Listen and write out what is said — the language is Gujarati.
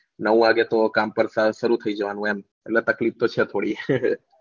નવ વાગે તો કામ પર શરૂ થઇ જવાનું એમ એટલે તકલીફ તો છે થોડી